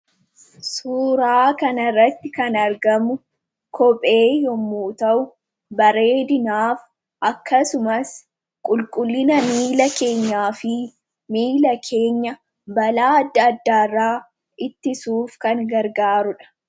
Suuraa kana irratti kan argamu kophee yommuu ta'u, kopheenis bareedinaaf, akkasumas qulqullina miila keenyaaf, miila keenya balaa adda addaa irraa ittisuuf kan gargaarudha.